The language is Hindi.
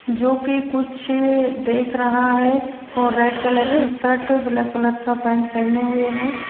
जोकि कुछ देख रहा है और रेड कलर की शर्ट ब्लैक कलर का पैंट पहने हुए हैं।